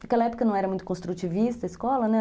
Naquela época não era muito construtivista a escola, né?